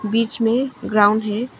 बीच में ग्राउंड है।